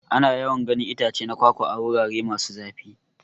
Ana yawan ganin itace na kwakwa a. wurare masu zafi.